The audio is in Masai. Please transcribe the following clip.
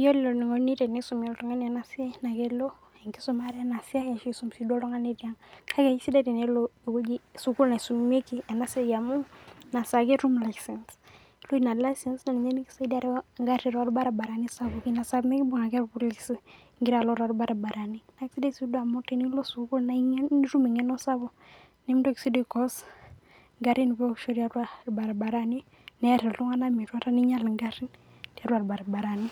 Yiolo enikuni tenisumi oltung'ani enasiai, na kelo enkisumare enasiai ashu isum si duo oltung'ani tiang'. Kake kesidai tenelo ewueji sukuul naisumieki enasiai amu, nasaa ake etum licence. Ore ina licence ,na ninye niki saidia areu egarri torbaribarani . Nasaa pemikibung' ake irpolisi igira alo torbaribarani. Kesidai si duo amu tenilo sukuul na ing'enu, nitum eng'eno sapuk nimintoki si duo ai cause igarrin peosh tiatua irbarabarani, neer iltung'anak metuata, ninyal egarrin tiatua irbarabarani.